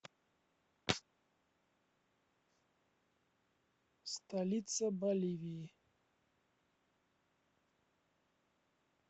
столица боливии